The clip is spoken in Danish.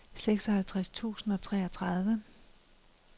seksoghalvtreds tusind og treogtredive